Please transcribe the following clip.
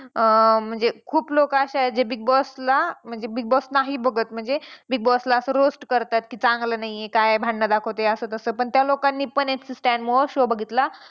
अं म्हणजे खूप लोकं असे आहेत जे Big Boss ला म्हणजे Big Boss नाही बघत म्हणजे Big Boss ला असं roast करतात चांगलं नाही आहे काय भांडणं दाखवतंय असं तसं पण त्या लोकांनी पण MC Stan मुळं show बघितला.